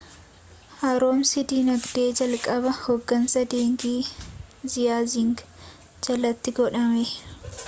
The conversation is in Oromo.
haaromsii dinagdee jalqabaa hoggansa dengi ziaaying jalatti godhame